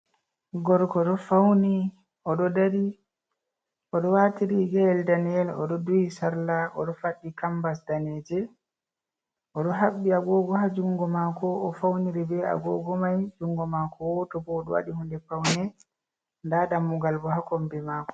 Gorgo do fauni, Odo dari, odo wati riga’el daneyell odo duhi sarla odo faddi cambars daneje odo habbi agogo ha jungo mako o fauni ri be agogo mai jungo mako woto bo wlodo wadi hunde paune nda dammugal bo ha kombi mako.